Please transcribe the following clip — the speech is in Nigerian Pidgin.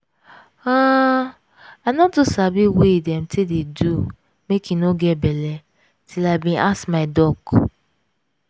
huhn i no too sabi way dem dey take do make im no get belle till i bin ask my doc.